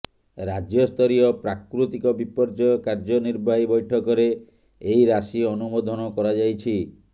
ରାଜ୍ୟସ୍ତରୀୟ ପ୍ରାକୃତିକ ବିପର୍ଯ୍ୟୟ କାର୍ଯ୍ୟନିର୍ବାହୀ ବୈଠକରେ ଏହି ରାଶି ଅନୁମୋଦନ କରାଯାଇଛି